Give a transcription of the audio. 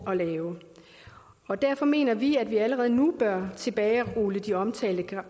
og lave derfor mener vi at vi allerede nu bør tilbagerulle de omtalte